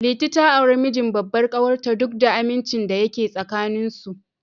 Liti ta auri mijin babbar ƙawar ta, duk da amincin da yake tsakanin su.